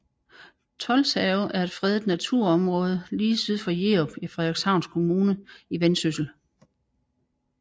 Tolshave er et fredet naturområde lige syd for Jerup i Frederikshavn Kommune i Vendsyssel